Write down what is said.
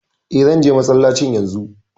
E, zan je masallacin yanzu.